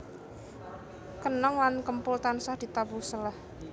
Kenong lan kempul tansah ditabuh seleh